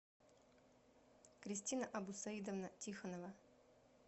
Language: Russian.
кристина абусаидовна тихонова